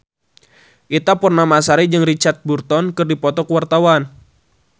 Ita Purnamasari jeung Richard Burton keur dipoto ku wartawan